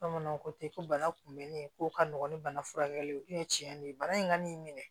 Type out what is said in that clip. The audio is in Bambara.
Bamananw ko ten ko bana kunbɛnni ko ka nɔgɔ ni bana furakɛli ye o ye tiɲɛ de ye bana in ka n'i minɛ